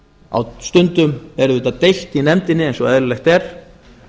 á stundum er auðvitað deilt í nefndinni eins og eðlilega er